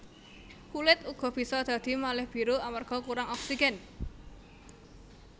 Kulit uga bisa dadi malih biru amarga kurang oksigen